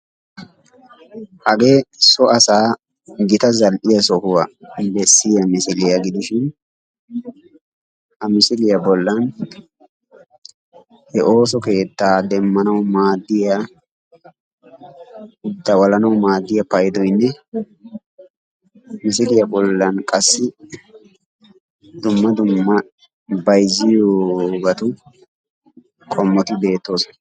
Hagee so asaa gita zal''iya sohuwaa bessiyaa misiliya gidishin, ha misiliya bollan he ooso keettaa demmanawu maaddiyaa dawalanawu maaddiya payidoyinne misiliya bollan qassi dumma dumma bayizziyobatu qommoti beettoosona.